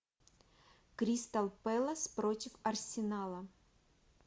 кристал пэлас против арсенала